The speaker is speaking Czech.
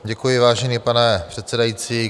Děkuji, vážený pane předsedající.